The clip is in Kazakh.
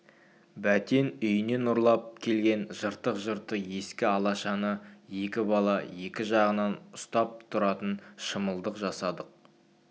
бәтен үйінен ұрлап алып келген жыртық-жыртық ескі алашаны екі бала екі жағынан ұстап тұратын шымылдық жасадық